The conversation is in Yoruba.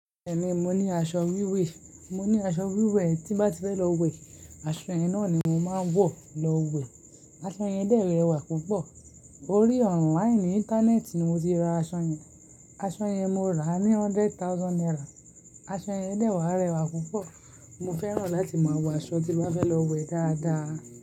Bẹ́ẹ̀ni, mo ní aṣọ wíwẹ̀. Mo ní aṣọ wíwẹ̀, tí bá ti fẹ́ lọ wẹ̀, aṣọ yẹn náà ni mo máa ń wọ̀ lọ wẹ̀. Aṣọ yẹn dẹ́rẹ̀wà púpọ̀. Orí online Íńtánẹ́ẹ̀tì ni mo ti ra aṣọ yẹn. Aṣọ yẹn mo rà á ní hundred thousand naira. Aṣọ yẹn dẹ́wà rẹwà púpọ̀. Mo fẹ́ràn láti máa wọ aṣọ tí bá fẹ́ lọ wẹ̀ dáadáa.